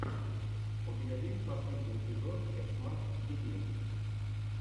у тебя есть последний эпизод экс мак геймин